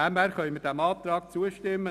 Deshalb können wir diesem Antrag zustimmen.